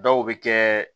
Dɔw bɛ kɛ